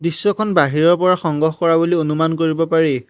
দৃশ্যখন বাহিৰৰ পৰা সংগ্ৰহ কৰা বুলি অনুমান কৰিব পাৰি।